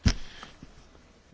Pani Przewodnicząca!